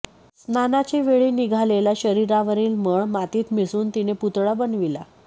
स्नानाचे वेळी निघालेला शरीरावरील मळ मातीत मिसळून तिने पुतळा बनविला